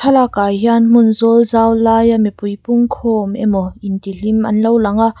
lakah hian hmun zawl zau laia mipui pungkhawm emaw intihlim an lo langa.